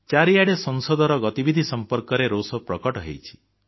ଚାରିଆଡ଼େ ସଂସଦର ଗତିବିଧି ସମ୍ପର୍କରେ ରୋଷ ପ୍ରକଟ ହେଇଛି